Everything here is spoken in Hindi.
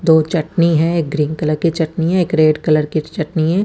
दो चट्टनी है ग्रीन कलर कि चट्टनी है एक रेड कलर कि चट्टनी है।